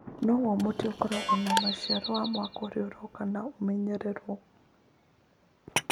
Nĩguo mũtĩ ũkorũo na maciaro ma mwaka ũrĩa ũroka, nĩ ũmenyagĩrĩrũo.